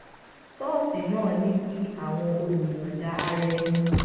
ṣóòṣì náà ní kí àwọn olùyòǹda ara ẹni